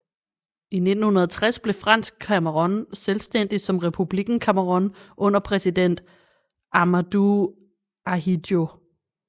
I 1960 blev Fransk Cameroun selvstændigt som Republikken Cameroun under præsident Ahmadou Ahidjo